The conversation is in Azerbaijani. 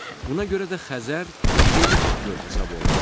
Buna görə də Xəzər relikt göl hesab olunur.